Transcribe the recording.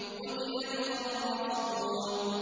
قُتِلَ الْخَرَّاصُونَ